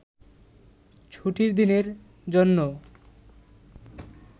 ছুটির দিনের জন্যও